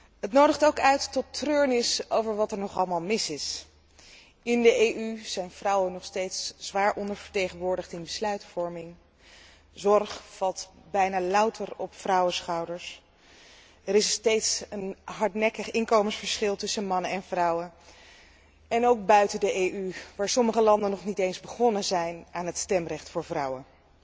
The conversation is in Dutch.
Deze dag nodigt ook uit tot treurnis over wat er nog allemaal mis is. In de EU zijn vrouwen nog steeds zwaar ondervertegenwoordigd in de besluitvorming, zorg valt bijna louter op vrouwenschouders en er is nog steeds een hardnekkig inkomensverschil tussen mannen en vrouwen, ook buiten de EU waar sommige landen nog niet eens begonnen zijn aan het stemrecht voor vrouwen.